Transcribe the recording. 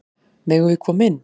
Megum við koma inn?